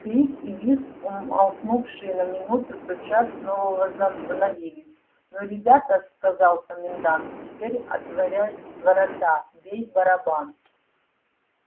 крик и визг умолкнувшие на минуту тотчас снова возобновились ну ребята сказал комендант теперь отворяй ворота бей в барабан